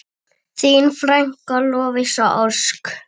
Þín frænka, Lovísa Ósk.